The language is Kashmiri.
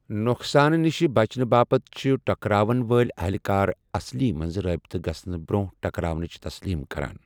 نۄقصانہٕ نِش بچنہٕ باپتھ چھِ ٹکراوَن وٲلۍ اہلہِ کار اصلی منٛز رٲبطہٕ گژھَنہٕ برٛونٛہہ ٹکراونٕچ تسلیم کران۔